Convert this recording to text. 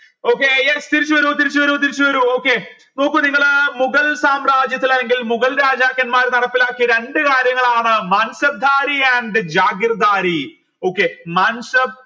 okay yes തിരിച്ചുവരൂ തിരിച്ചു വരൂ തിരിച്ചുവരൂ okay നോക്ക് നിങ്ങൾ മുഗൾ സാമ്രാജ്യത്തിൽ അല്ലെങ്കിൽ മുഗൾ രാജാക്കന്മാര് നടപ്പിലാക്കിയ രണ്ട് കാര്യങ്ങളാണ് and okay